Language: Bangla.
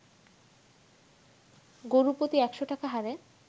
গরু প্রতি ১০০ টাকা হারে